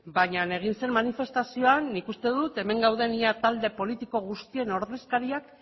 baina egin zen manifestazioan nik uste dut hemen gauden ia talde politiko guztien ordezkariak